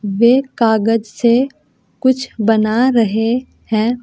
वे कागज से कुछ बना रहे हैं।